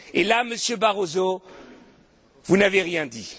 Et là, Monsieur Barroso, vous n'avez rien dit.